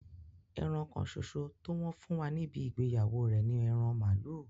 Ẹran kánsòsò tó wọn fún wa níbí ìgbèyawó rẹ ní èran malu.